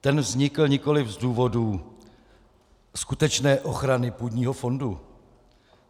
Ten vznikl nikoliv z důvodů skutečné ochrany půdního fondu.